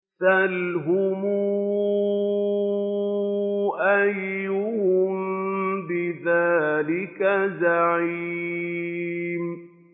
سَلْهُمْ أَيُّهُم بِذَٰلِكَ زَعِيمٌ